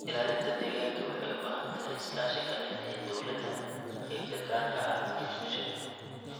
Ilaalinta deegaanka waxay u baahan tahay iskaashi ka dhexeeya dowladda, qaybta gaarka ah, iyo bulshada.